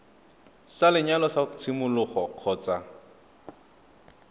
sa lenyalo sa tshimologo kgotsa